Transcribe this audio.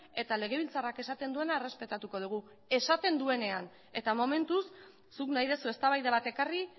eta legebiltzarrak esaten duena errespetatuko dugu esaten duenean eta momentuz zuk nahi duzu eztabaida bat ekarri